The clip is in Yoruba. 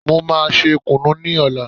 Wọ́n máa ṣe kùnú ní ọ̀la.